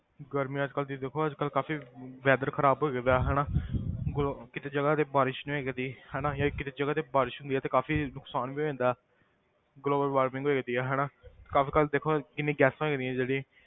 ਗਰਮੀ ਅੱਜ ਕੱਲ੍ਹ ਤੁਸੀਂ ਦੇਖੋ ਅੱਜ ਕੱਲ੍ਹ ਕਾਫ਼ੀ weather ਖ਼ਰਾਬ ਗਏ ਦਾ ਹਨਾ ਗਰ~ ਕਿਤੇ ਜਗ੍ਹਾ ਤੇ ਬਾਰਿਸ਼ ਨੀ ਹੋਇਆ ਕਰਦੀ ਹਨਾ ਜਾਂ ਕਿਤੇ ਜਗ੍ਹਾ ਤੇ ਬਾਰਿਸ਼ ਹੁੰਦੀ ਆ ਤੇ ਕਾਫ਼ੀ ਨੁਕਸਾਨ ਵੀ ਹੋ ਜਾਂਦਾ global warming ਹੋ ਜਾਂਦੀ ਆ ਹਨਾ ਕੰਮ ਕਾਰ ਦੇਖੋ ਕਿੰਨੀ ਗੈਸਾਂ ਹੋ ਜਾਂਦੀ ਜਿਹੜੀ,